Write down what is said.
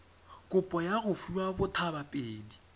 kopo ya go fiwa bothabapedi